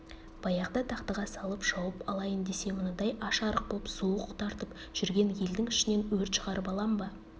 баяғы дағдыға салып шауып алайын десе мынадай аш-арық боп суық тартып жүрген елдің ішінен өрт шығарып алам ба